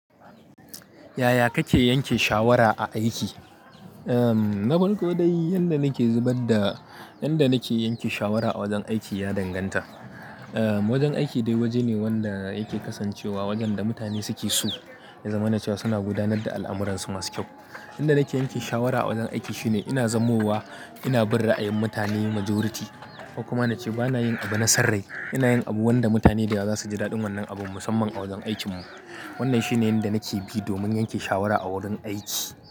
Yaya kake yanke shawara a aiki? Em, na farko dai yanda nake zubar da, yanda nake yanke shawara a wajen aiki ya danganta. Eh, wajen aiki dai waje ne wanda yake kasancewa wajen da mutane suke so, ya zamana cewa suna gudanar da al'amuransu masu kyau. Yanda nake yanke shawara a wajen aiki shine ina zanmowa, ina bin ra'ayin mutane majority ko kuma nace bana yin abu na sarrai. Ina yin abu wanda mutane da yawa za su ji daɗin wannan abun musamman a wajen aikinmu. Wannan shine yanda nake bi domin yanke shawara a wurin aiki.